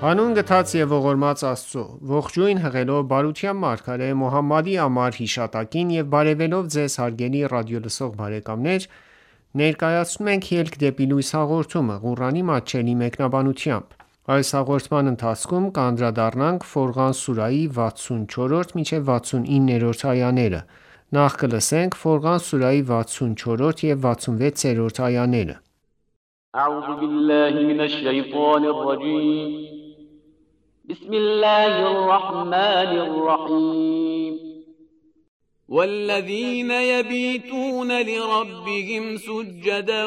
Հանուն գթած և ողորմած Աստծո:Ողջույն հղելով բարության մարգարե Մոհամմադի անմար հիշատակին եւ բարեւելով Ձեզ հարգելի ռադիոլսող բարեկամներ ներկայացնում ենք «Ելք դեպի լույս» հաղորդումը, Ղուրանի մատչելի մեկնաբանությամբ: Ֆորղան սուրահի 64-66-րդ այաներ وَالَّذِینَ یَبِیتُونَ لِرَبِّهِمْ سُجَّدًا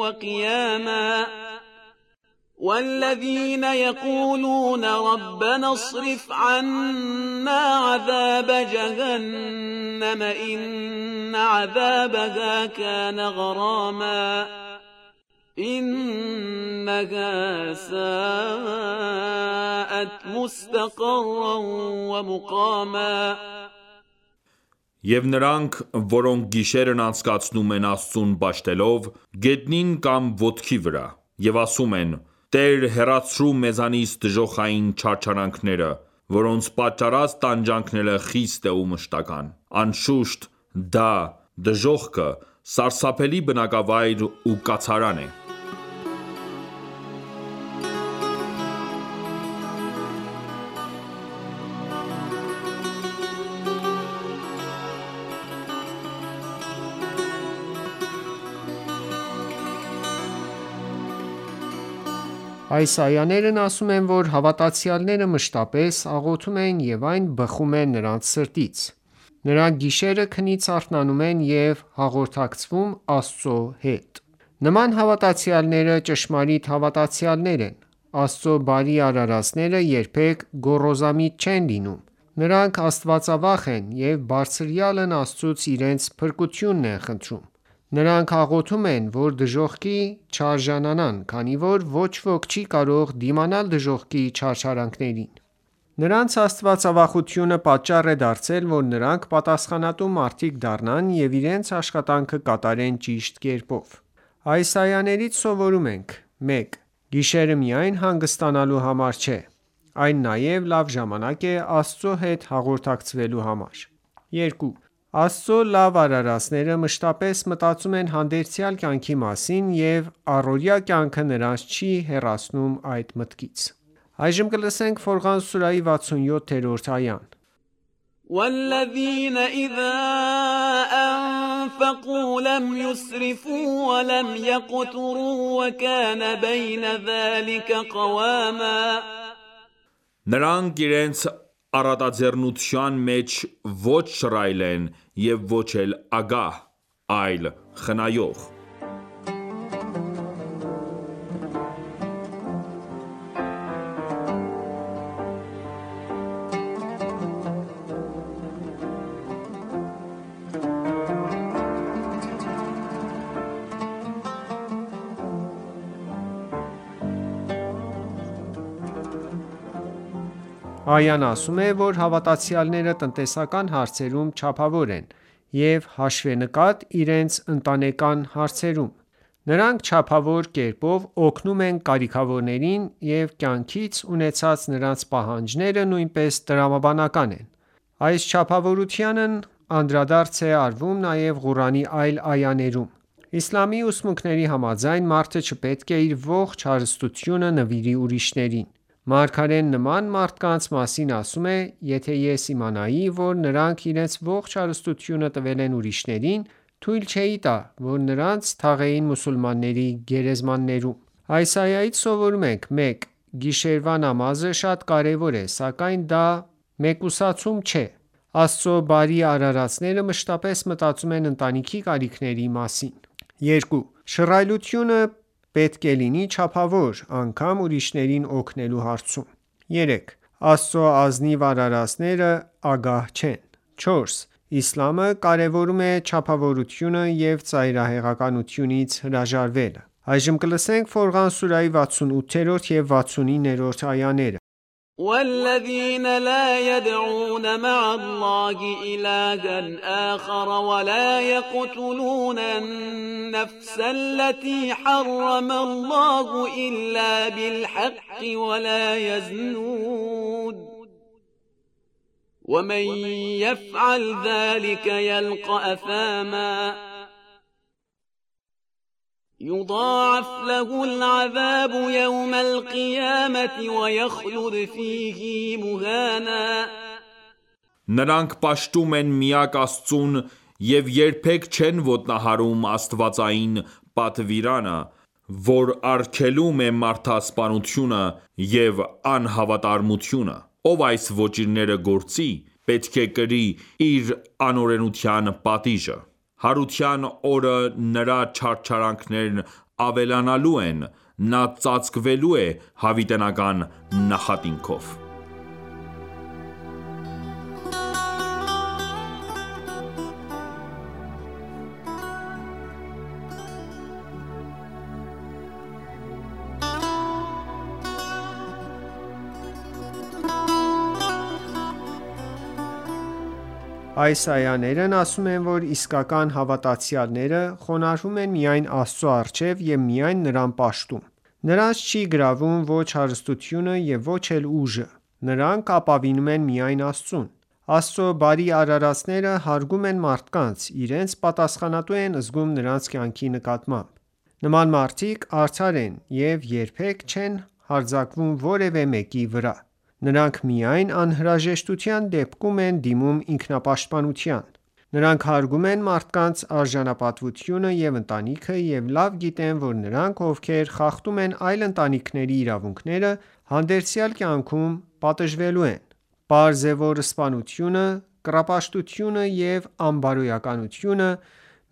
وَقِیَامًا وَالَّذِینَ یَقُولُونَ رَبَّنَا اصْرِفْ عَنَّا عَذَابَ جَهَنَّمَ إِنَّ عَذَابَهَا کَانَ غَرَامًا إِنَّهَا سَاءتْ مُسْتَقَرًّا وَمُقَامًا Եվ նրանք, որոնք գիշերն անցկացնում են Աստծուն պաշտելով` գետնին կամ ոտքի վրա: Եվ ասում են. «Տե՛ր հեռացրու մեզանից դժոխային չարչարանքները, որոնց պատճառած տանջանքը խիստ է ու մշտական»: Անշուշտ, դա (դժոխքը) սարսափելի բնակավայր ու կացարան է: Այս այաներն ասում են, որ հավատացյալները մշտապես աղոթում են և այն բխում է նրանց սրտից: Նրանք գիշերը քնից արթնանում են և հաղորդակցվում Աստծո հետ: Նման հավատացյալները ճշմարիտ հավատացյալներ են: Աստծո բարի արարածները երբեք գոռոզամիտ չեն լինում: Նրանք աստվածավախ են և բարձրյալն Աստծուց իրենց փրկությունն են խնդրում: Նրանք աղոթում են, որ դժոխքի չարժանանան, քանի որ ոչ ոք չի կարող դիմանալ դժոխքի չարչարանքներին: Նրանց աստվածավախությունը պատճառ է դարձել, որ նրանք պատասխանատու մարդիկ դառնան ու իրենց աշխատանքը կատարեն ճիշտ կերպով: Այս այաներից սովորում ենք․ 1. Գիշերը միայն հանգստանալու համար չէ: Այն նաև լավ ժամանակ է՝ Աստծո հետ հաղորդակցվելու համար: 2. Աստծո լավ արարածները մշտապես մտածում են հանդերձյալ կյանքի մասին և առօրյա կյանքը նրանց չի հեռացնում այդ մտքից: Ֆորղան սուրահի 67-րդ այա وَالَّذِینَ إِذَا أَنفَقُوا لَمْ یُسْرِفُوا وَلَمْ یَقْتُرُوا وَکَانَ بَیْنَ ذَلِکَ قَوَامًا Նրանք իրենց առատաձեռնության մեջ ոչ շռայլ են և ոչ էլ ագահ, այլ` խնայող: Այան ասում է, որ հավատացյալները տնտեսական հարցերում չափավոր են և հաշվենկատ՝ իրենց ընտանեկան հարցերում: Նրանք չափավոր կերպով օգնում են կարիքավորներին և կյանքից ունեցած նրանց պահանջները նույնպես տրամաբանական են: Այս չափավորությանն անդրադարձ է արվում նաև Ղուրանի այլ այաներում: Իսլամի ուսմունքների համաձայն, մարդը չպետք է իր ողջ հարստությունը նվիրի ուրիշներին: Մարգարեն նման մարդկանց մասին ասում է. «Եթե ես իմանայի, որ նրանք իրենց ողջ հարստությունը տվել են ուրիշներին, թույլ չէի տա, որ նրանց թաղեին մուսուլմանների գերեզմաններում»: Այս այայից սովորում ենք. 1. Գիշերվա նամազը շատ կարևոր է: Սակայն դա մեկուսացում չէ: Աստծո բարի արարածները մշտապես մտածում են ընտանիքի կարիքների մասին: 2. Շռայլությունը պետք է լինի չափավոր, անգամ ուրիշներին օգնելու հարցում: 3. Աստծո ազնիվ արարածները ագահ չեն: 4. Իսլամը կարևորում է չափավորությունը և ծայրահեղությունից հրաժարվելը: Ֆորղան սուրահի 68 և 69-րդ այաներ الَّتِی حَرَّمَ اللَّهُ إِلَّا بِالْحَقِّ وَلَا یَزْنُونَ وَمَن یَفْعَلْ ذَلِکَ یَلْقَ أَثَامًا یُضَاعَفْ لَهُ الْعَذَابُ یَوْمَ الْقِیَامَةِ وَیَخْلُدْ فِیهِ مُهَانًا Նրանք պաշտում են միակ Աստծուն և երբեք չեն ոտնահարում աստվածային պատվիրանը, որ արգելում է մարդասպանությունը և անհավատարմությունը: Ով այս ոճիրները գործի, պետք է կրի իր անօրենության պատիժը: Հարության օրը նրա չարչարանքներն ավելանալու են, նա ծածկվելու է հավիտենական նախատինքով: Այս այաներն ասում են, որ իսկական հավատացյալները խոնարհվում են միայն Աստծո առջև և միայն Նրան պաշտում: Նրանց չի գրավում ոչ հարստությունը և ոչ էլ ուժը: Նրանք ապավինում են միայն Աստծուն: Աստծո բարի արարածները հարգում են մարդկանց, իրենց պատասխանատու են զգում նրանց կյանքի նկատմամբ: Նման մարդիկ արդար են և երբեք չեն հարձակվում որևէ մեկի վրա: Նրանք միայն անհրաժեշտության դեպքում են դիմում ինքնապաշտպանության: Նրանք հարգում են մարդկանց արժանապատվությունը և ընտանիքը և լավ գիտեն, որ նրանք, ովքեր խախտում են այլ ընտանիքների իրավունքները, հանդերձյալ կյանքում պատժվելու են: Պարզ է, որ սպանությունը, կռապաշտությունը և անբարոյականությունը,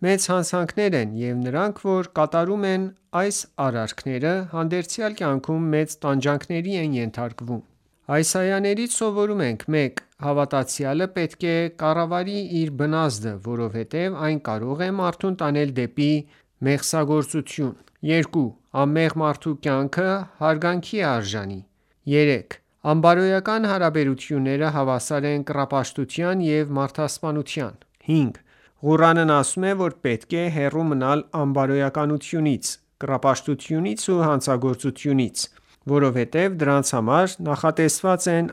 մեծ հանցանքներ են և նրանք որ կատարում են այս արարքները, հանդերձյալ կյանքում մեծ տանջանքների են ենթարկվում: Այս այաներից սովորում ենք. 1. Հավատացյալը պետք է կառավարի իր բնազդը, որովհետև այն կարող է մարդուն տանել դեպի մեղսագործություն: 2. Անմեղ մարդու կյանքը հարգանքի է արժանի: 3․Անբարոյական հարաբերությունները հավասար են կռապաշտության և մարդասպանության: 5.Ղուրանն ասում է, որ պետք է հեռու մնալ անբարոյականությունից, կռապաշտությունից ու հանցագործությունից, որովհետև դրանց համար նախատեսված են